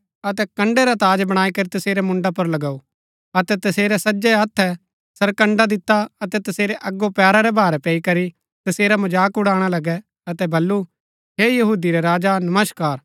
अतै कण्ड़ै रा ताज बणाई करी तसेरै मुण्ड़ा पुर लगाऊ अतै तसेरै सज्जै हत्थै सरकण्ड़ा दिता अतै तसेरै अगो पैरा रै भारै पैई करी तसेरा मजाक उड़ाणा लगै अतै बल्लू हे यहूदी रै राजा नमस्कार